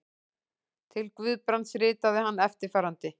Til Guðbrands ritaði hann eftirfarandi